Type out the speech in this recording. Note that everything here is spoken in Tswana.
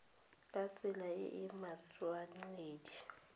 ka tsela e e matshwanedi